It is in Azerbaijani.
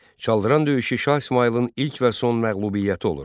Çaldıran döyüşü Şah İsmayılın ilk və son məğlubiyyəti olur.